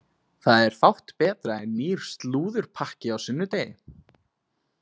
Það er fátt betra en nýr slúðurpakki á sunnudegi!